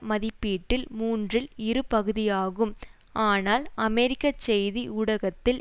மதிப்பீட்டில் மூன்றில் இரு பகுதியாகும் ஆனால் அமெரிக்க செய்தி ஊடகத்தில்